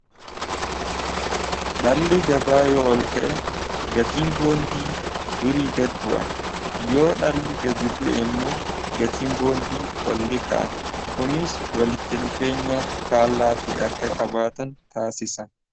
Dhalli gabaa yoo ol ka'e gatiin boondii durii gad bu'a yoo dhalli gadi bu'e immoo gatiin boondii oli ka'a kuniis walitti dhufeenya faallaa ta'e akka qabaatan taasisa.